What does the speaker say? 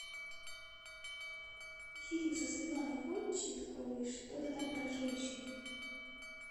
фильм со светланой ходченковой что то там про женщин